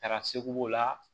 Taara segu b'o la